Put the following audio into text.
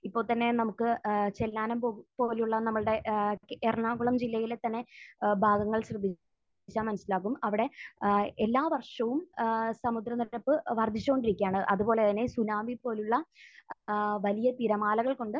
ഇപ്പോൾ തന്നെ നമുക്ക് ഏഹ് ചെല്ലാനം പോ...പോലുള്ള നമ്മളുടെ ഏഹ് എറണാകുളം ജില്ലയിലെ തന്നെ ഏഹ് ഭാഗങ്ങൾ ശ്രദ്ധിച്ചാൽ മനസ്സിലാകും. അവിടെ ഏഹ് എല്ലാ വർഷവും ഏഹ് സമുദ്രനിരപ്പ് വർധിച്ചുകൊണ്ടിരിക്കുകയാണ്. അതുപോലെ തന്നെ സുനാമി പോലുള്ള ഏഹ് വലിയ തിരമാലകൾ കൊണ്ട്